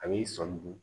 A b'i sɔmi dun